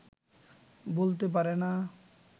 বলতে পারে না